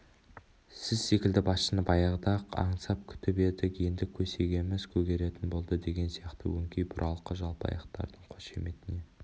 сіз секілді басшыны баяғыда-ақ аңсап күтіп едік енді көсегеміз көгеретін болды деген сияқты өңкей бұралқы жалпақайлардың қошаметіне